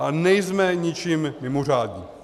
Ale nejsme ničím mimořádní.